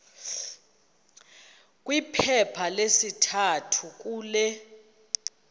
kwiphepha lesithathu kule